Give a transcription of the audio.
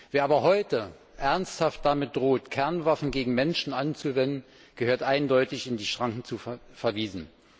Wer aber heute ernsthaft damit droht, Kernwaffen gegen Menschen einzusetzen, gehört eindeutig in die Schranken verwiesen.